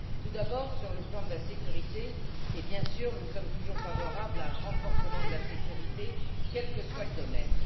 Tout d'abord sur le plan de la sécurité, et bien sûr nous sommes toujours favorables à un renforcement de la sécurité, quel que soit le domaine.